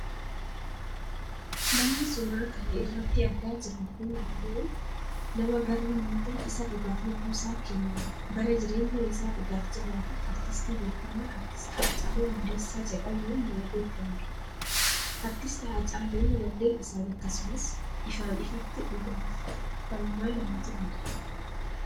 namni suuraa kana irratti argaa jirru kun ammoo nama barri miite isa dhugaaf lubbuusaa kenne bara jireenya isaa dhugaaf jiraate, aartistii beekkamaa aartisti Haacaaluu Hundeessaa jedhamuun nama beekkamudha. aartisti Haacaaluun wallee isaan akkasumas ifaan ifatti dhugaaf falmaa nama turedha.